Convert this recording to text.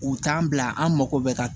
U t'an bila an mago bɛ ka